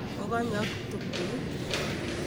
Kokonyo ak ptuktukit